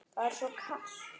Það er svo kalt.